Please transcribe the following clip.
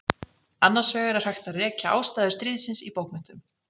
Annars vegar er hægt að rekja ástæður stríðsins í bókmenntum.